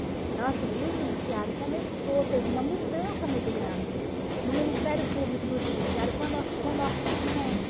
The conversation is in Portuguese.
Então assim, o Judiciário começou, teve uma mudança muito grande no Ministério Público e no Judiciário com o nosso surgimento.